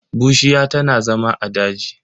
Bushiya tana zama a daji.